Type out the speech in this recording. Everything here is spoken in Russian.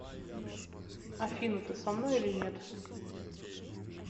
афина ты со мной или нет